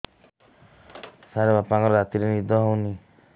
ସାର ବାପାଙ୍କର ରାତିରେ ନିଦ ହଉନି